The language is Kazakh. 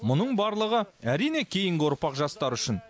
мұның барлығы әрине кейінгі ұрпақ жастар үшін